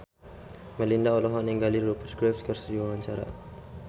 Melinda olohok ningali Rupert Graves keur diwawancara